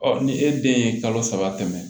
ni e den ye kalo saba tɛmɛ